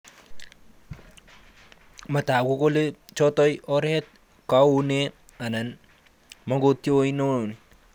Matagu kole chotoi oret kounee anan mangetoi ano